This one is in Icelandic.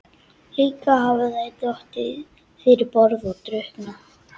Líklega hafa þær dottið fyrir borð og drukknað.